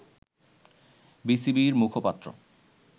বিসিবি’র মুখপাত্র